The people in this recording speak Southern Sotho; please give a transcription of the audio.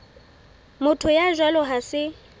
motho ya jwalo ha se